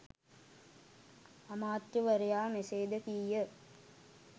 අමාත්‍යවරයා මෙසේද කීය